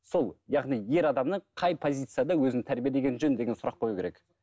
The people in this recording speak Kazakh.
сол яғни ер адамның қай позицияда өзін тәрбиелегені жөн деген сұрақ қою керек